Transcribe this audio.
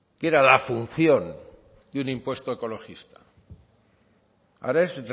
que era la función de un impuesto ecologista ahora es